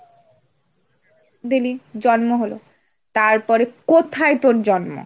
দিলি, জন্ম হল, তারপরে কোথায় তোর জন্ম?